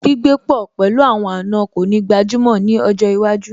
Gbígbé pọ̀ pẹ̀lú àwọn àna kò ní gbajúmọ̀ ní ọjọ́ iwájú